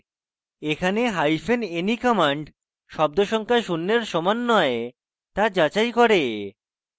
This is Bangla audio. এখানে hyphen ne command শব্দ সংখ্যা শূন্যের সমান নয় তা যাচাই করে